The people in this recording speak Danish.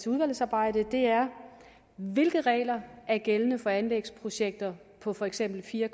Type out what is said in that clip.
udvalgsarbejdet er hvilke regler er gældende for anlægsprojekter på for eksempel fire